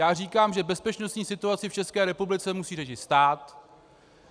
Já říkám, že bezpečnostní situaci v České republice musí řešit stát.